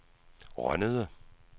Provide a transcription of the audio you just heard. Rønnede